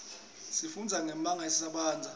sifundza nyemaga etintsaba